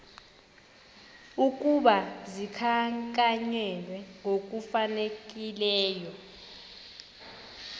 ukuba zikhankanywe ngokufanelekileyo